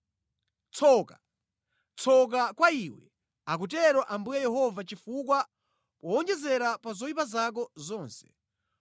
“ ‘Tsoka! Tsoka kwa iwe, akutero Ambuye Yehova chifukwa powonjezera pa zoyipa zako zonse,